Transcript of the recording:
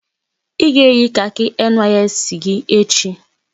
I ga-eyi kaki NYSC gị echi!